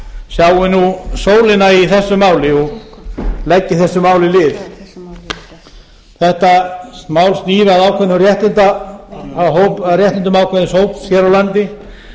sjái nú sólina í þessu máli og leggi þessu máli lið þetta mál snýr að réttindum ákveðins hóps hér á landi